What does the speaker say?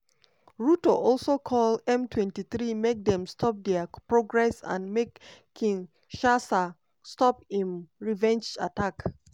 ruto also call m23 make dem stop dia progress and make kinshasa stop im revenge attacks.